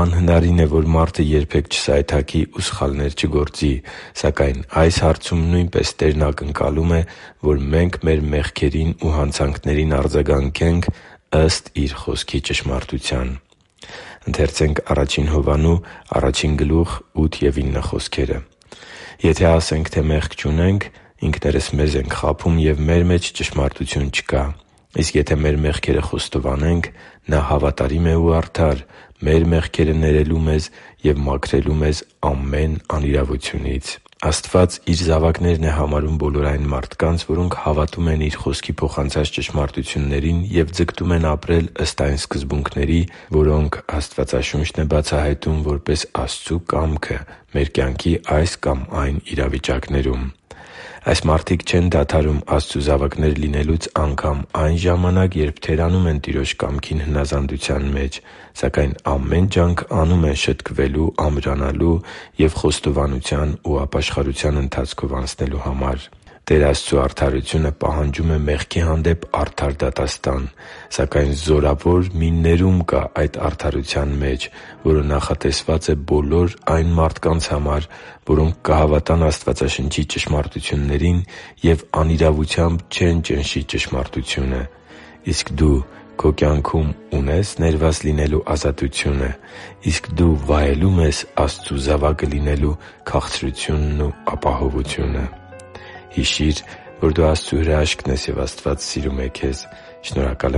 Անհնարին է, որ մարդը երբե՛ք չսայթաքի ու սխալներ չգործի։ Սակայն այս հարցում նույնպես Տերն ակնկալում է, որ մենք մեր մեղքերին ու հանցանքներին արձագանքենք ըստ Իր Խոսքի ճշմարտության։ «Եթե ասենք, թե մեղք չունենք, ինքներս մեզ ենք խաբում, և մեր մեջ ճշմարտություն չկա։ Իսկ եթե մեր մեղքերը խոստովանենք, Նա հավատարիմ է ու արդար՝ մեր մեղքերը ներելու մեզ և մաքրելու մեզ ամեն անիրավությունից» (Ա Հովհաննես 1․8-9): Աստված Իր զավակներն է համարում բոլոր այն մարդկանց, որոնք հավատում են Իր Խոսքի փոխանցած ճշմարտություններին և ձգտում են ապրել ըստ այն սկզբունքների, որոնք Աստվածաշունչն է բացահայտում՝ որպես Աստծու կամքը մեր կյանքի այս կամ այն իրավիճակներում։ Այս մարդիկ չեն դադարում Աստծու զավակներ լինելուց անգամ այն ժամանակ, երբ թերանում են Տիրոջ կամքին հնազանդության մեջ, սակայն ամեն ջանք անում են շտկվելու, ամրանալու և խոստովանության ու ապաշխարության ընթացքով անցնելու համար։ Տեր Աստծու արդարությունը պահանջում է մեղքի հանդեպ արդար դատաստան։ Սակայն զորավոր մի ներում կա այդ արդարության մեջ, որը նախատեսված է բոլոր այն մարդկանց համար, որոնք կհավատան Աստվածաշնչի ճշմարտություններին և անիրավությամբ չեն ճնշի ճշմարտությունը։ Իսկ դու քո կյանքում ունե՞ս ներված լինելու ազատությունը։ Իսկ դու վայելո՞ւմ ես Աստծու զավակը լինելու քաղցրությունն ու ապահովությունը․․․ Հիշի՛ր, որ դու Աստծո հրաշքն ես, և Աստված սիրում է քեզ։ Շնորհակալ